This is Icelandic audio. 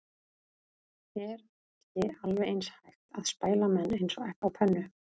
Er ekki alveg eins hægt að spæla menn eins og egg á pönnu?